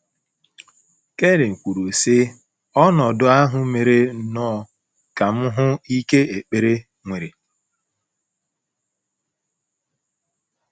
Karen kwuru, sị: “ Ọnọdụ ahụ mere nnọọ ka m hụ ike ekpere nwere. ”